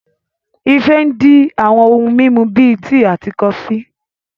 Ife ń di àwọn ohun mímu bíi tíì àti kọfí